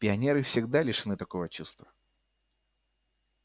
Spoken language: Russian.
пионеры всегда лишены такого чувства